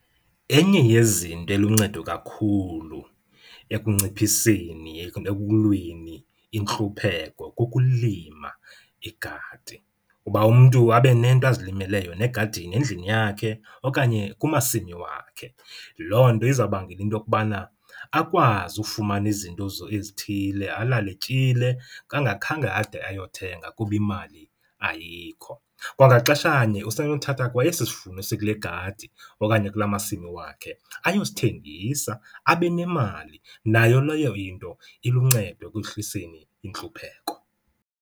Enye yezinto eluncedo kakhulu ekunciphiseni ekulweni intlupheko kukulima igadi kuba umntu abe nento azilimele yona egadini endlini yakhe okanye kumasimi wakhe. Loo nto izabangela into yokubana akwazi ufumana izinto ezithile, alale etyile engakhange ade ayothenga kuba imali ayikho. Kwangaxeshanye usenothatha kwa esi sivuno sikule gadi okanye kula masimi wakhe ayosithengisa abe nemali, nayo leyo into iluncedo ekwehliseni intlupheko.